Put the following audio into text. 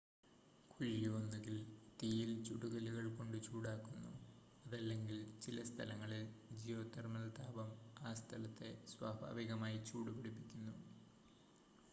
കുഴി ഒന്നുകിൽ തീയിൽ ചുട്ടകല്ലുകൾ കൊണ്ട് ചൂടാക്കുന്നു അതല്ലെങ്കിൽ ചില സ്ഥലങ്ങളിൽ ജിയോ തെർമൽ താപം ആ സ്ഥലത്തെ സ്വാഭാവികമായി ചൂട് പിടിപ്പിക്കുന്നു